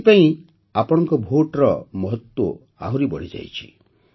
ଏଥିପାଇଁ ଆପଣଙ୍କ ଭୋଟ୍ର ମହତ୍ତ୍ୱ ଆହୁରି ବଢ଼ିଯାଇଛି